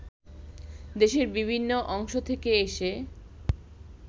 দেশের বিভিন্ন অংশ থেকে এসে